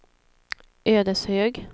Ödeshög